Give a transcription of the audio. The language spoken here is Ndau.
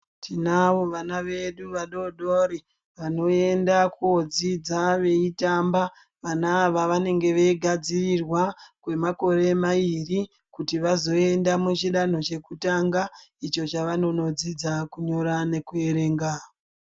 Tinavo vana vedu vadodori vanoenda kodzidza veitamba vana ava vanenge veigadzirirwa Kwemakore mairi kuti vazoenda muchidanho chekutanga icho chavanodzidza kunyora nekuerenga.